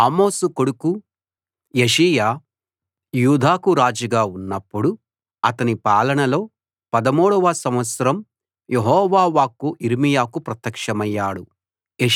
ఆమోను కొడుకు యోషీయా యూదాకు రాజుగా ఉన్నప్పుడు అతని పాలనలో 13 వ సంవత్సరం యెహోవా వాక్కు యిర్మీయాకు ప్రత్యక్షమయ్యాడు